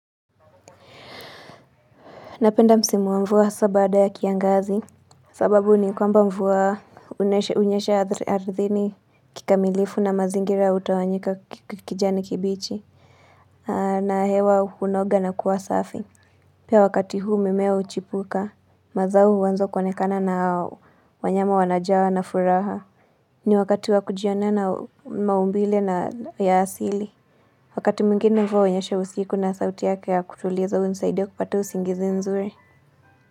Napenda msimu wa mvua hasa baada ya kiangazi. Sababu ni kwamba mvua hunyesha ardhini kikamilifu na mazingira hutawanyika kijani kibichi. Na hewa hunoga na kuwa safi. Pia wakati huu mimea huchipuka. Mazao huanza kuonekana na wanyama wanajawa na furaha. Ni wakati wa kujionea na maumbile na ya asili. Wakati mwingine mvua hunyesha usiku na sauti yake ya kutuliza hunisaidia kupata usingizi nzuri.